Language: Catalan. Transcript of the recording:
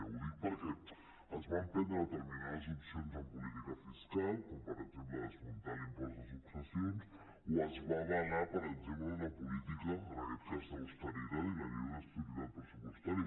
ho dic perquè es van prendre determinades opcions en política fiscal com per exemple desmuntar l’impost de successions o es va avalar per exemple una política en aquest cas d’austeritat i la llei d’estabilitat pressupostària